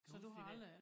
Kan du huske det dér